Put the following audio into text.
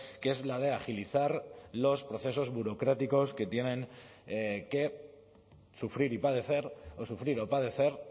que es la de agilizar los procesos burocráticos que tienen que sufrir y padecer o sufrir o padecer